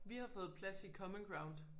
Vi har fået plads i common ground